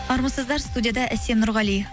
армысыздар студияда әсем нұрғали